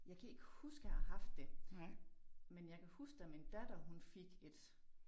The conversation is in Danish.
Jeg kan ikke huske jeg har haft det men jeg kan huske da min datter hun fik et